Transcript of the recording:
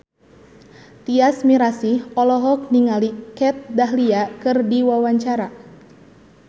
Tyas Mirasih olohok ningali Kat Dahlia keur diwawancara